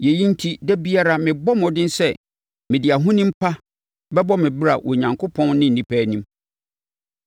Yei enti, da biara mebɔ mmɔden sɛ mede ahonim pa bɛbɔ me bra Onyankopɔn ne nnipa anim.